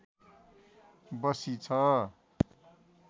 बसी छ